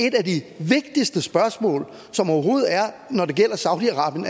et af de vigtigste spørgsmål som overhovedet er når det gælder saudi arabien